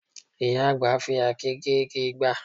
Ìyá àgbà ń fi àáké gé igi ìgbá